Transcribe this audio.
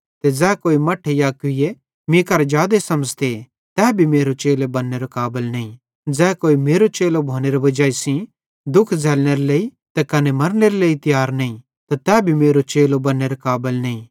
ज़ै कोई मेरो चेलो भोनेरी वजाई सेइं दुःख झ़ैल्लनेरे लेइ त कने मरनेरे लेइ तियार नईं त तै भी मेरो चेलो बन्नेरे काबल नईं